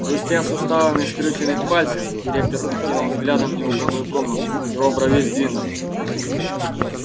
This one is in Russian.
хрустя суставами скрюченных пальцев директор окинул взглядом неубранную комнату в его брови сдвинулись